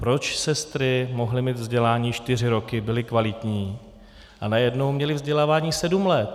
Proč sestry mohly mít vzdělání čtyři roky, byly kvalitní, a najednou měly vzdělávání sedm let?